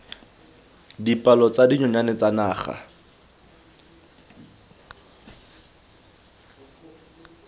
dipalo tsa dinonyane tsa naga